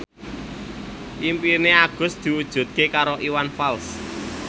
impine Agus diwujudke karo Iwan Fals